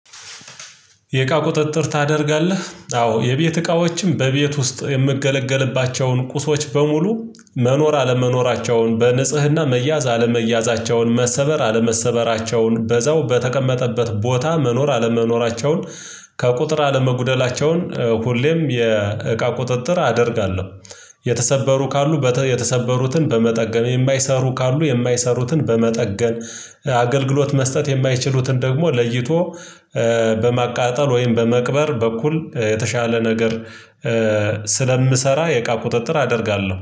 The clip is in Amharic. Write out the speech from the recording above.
የእቃ ቁጥጥር ታደርጋለህ? አዎ የቤት እቃዎችም በቤት ውስጥ የምገለገልባቸውን ቁሶች በሙሉ መኖር አለመኖራቸውን በንጽህና መያዝ አለመያዛቸውን መሰበር አለመሰበራቸውን በዛው በተቀመጠበት ቦታ መኖር አለመኖራቸውን ከቁጥር አለመጉደላቸውን ሁሌም የእቃ ቁጥጥር አደርጋለሁ። የተሰበሩ ካሉ የተሰበሩትን በመጠገም የማይሰሩ ካሉ የማይሰሩትን በመጠገን። አገልግሎት መስጠት የማይችሉትን ደግሞ ለይቶ በማቃጠል ወይም በመቅበር በኩል የተሻለ ነገር። ስለምሰራ የእቃ ቁጥጥር አደርጋለሁ